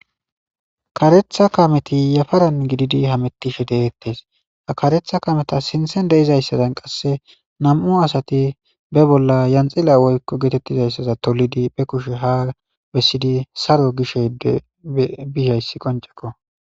Karetha kaameti yafaran gididi hametishe deetes ha karetha kaametas sinthen de'izayssazan qase nam'u asati be bolla yanxila woyko geetetizaysaza tolidi be kushe haa bessidi haa saro gishe bizayssi qoncceko.